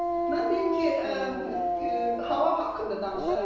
Mən deyim ki, hava haqqında danışaram biraz.